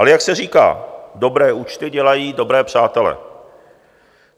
Ale jak se říká, dobré účty dělají dobré přátele.